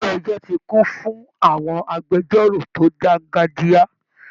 Ilé ẹjọ́ ti kún fún àwọn agbẹjọ́rò tó dángájíá